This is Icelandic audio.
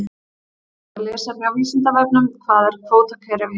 Frekara lesefni á Vísindavefnum: Hvað er kvótakerfi?